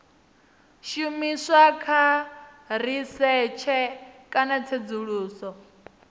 shumiswa kha risetshe kana tsedzuluso